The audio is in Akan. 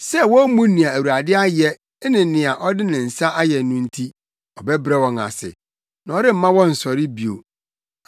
Sɛ wommu nea Awurade ayɛ ne nea ɔde ne nsa ayɛ no nti ɔbɛbrɛ wɔn ase na ɔremma wɔnnsɔre bio.